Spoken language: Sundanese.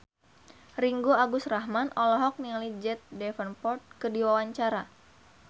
Ringgo Agus Rahman olohok ningali Jack Davenport keur diwawancara